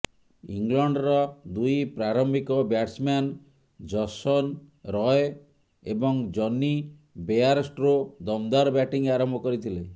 ଇଂଲଣ୍ଡର ଦୁଇ ପ୍ରାରମ୍ଭିକ ବ୍ୟାଟ୍ସମ୍ୟାନ୍ ଜସନ ରୟ ଏବଂ ଜନି ବେୟାରଷ୍ଟ୍ରୋ ଦମଦାର ବ୍ୟାଟିଂ ଆରମ୍ଭ କରିଥିଲେ